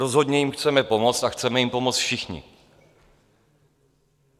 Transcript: Rozhodně jim chceme pomoct a chceme jim pomoct všichni.